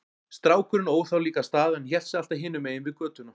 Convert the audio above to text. Strákurinn óð þá líka af stað en hélt sig alltaf hinum megin við götuna.